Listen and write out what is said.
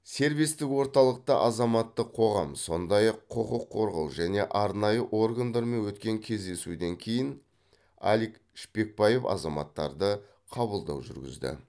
сервистік орталықта азаматтық қоғам сондай ақ құқық қорғау және арнайы органдармен өткен кездесуден кейін алик шпекбаев азаматтарды қабылдау жүргізді